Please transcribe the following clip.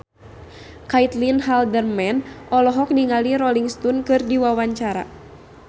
Caitlin Halderman olohok ningali Rolling Stone keur diwawancara